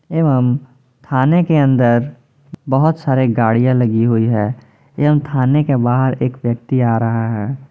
एवं थाने के अंदर बहुत सारे गाड़ियां लगी हुई है एवं थाने के बाहर एक व्यक्ति आ रहा है।